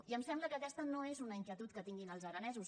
i em sembla que aquesta no és una inquietud que tinguin els aranesos